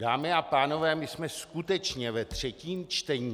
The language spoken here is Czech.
Dámy a pánové, my jsme skutečně ve třetím čtení.